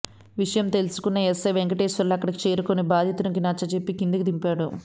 విషయం తెలుసుకున్న ఎస్సై వెంకటేశ్వర్లు అక్కడికి చేరుకొని బాధితునికి నచ్చజెప్పి కిందకు దింపాడు